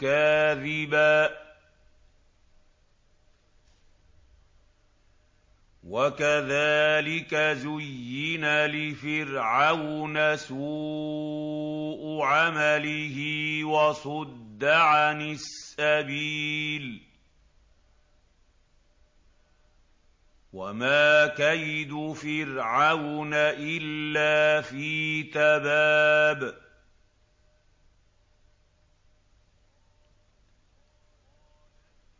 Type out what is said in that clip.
كَاذِبًا ۚ وَكَذَٰلِكَ زُيِّنَ لِفِرْعَوْنَ سُوءُ عَمَلِهِ وَصُدَّ عَنِ السَّبِيلِ ۚ وَمَا كَيْدُ فِرْعَوْنَ إِلَّا فِي تَبَابٍ